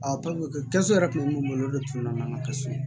yɛrɛ tun bɛ mun bolo o de tun na n'an ka kaso ye